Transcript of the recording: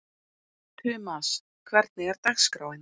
Tumas, hvernig er dagskráin?